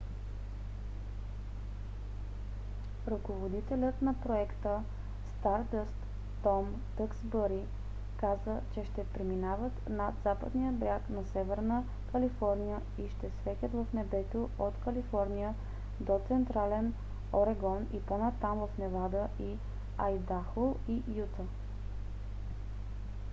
ръководителят на проекта стардъст том дъксбъри каза че ще преминават над западния бряг на северна калифорния и ще светят в небето от калифорния до централен орегон и по-натам в невада и айдахо и юта